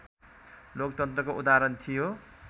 लोकतन्त्रको उदाहरण थियो